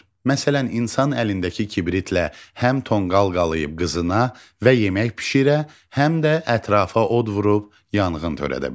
Məsələn, insan əlindəki kibritlə həm tonqal qalıyıb qızına və yemək bişirə, həm də ətrafa od vurub yanğın törədə bilər.